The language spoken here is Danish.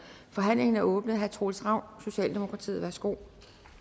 forhandlingen er åbnet herre troels ravn socialdemokratiet værsgo